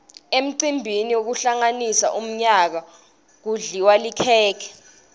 emcimbini wekuhlanganisa umyaka kudliwa likhekhe